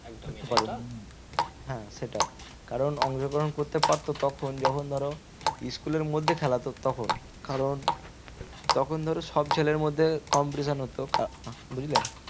হ্যাঁ সেটাই কারণ অংশগ্রহণ করতে পারতো তখন যখন ধরো school এর মধ্যে খেলাতো তখন কারণ তখন ধরো সব ছেলের মধ্যে competition হতো বুঝলে?